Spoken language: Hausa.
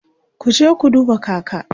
kuje ku duba kaka!